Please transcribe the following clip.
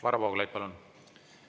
Varro Vooglaid, palun!